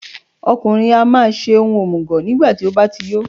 Ọkùnrin á máa ṣe ohun òmùgọ̀ nígbàtí ó bá ti yó.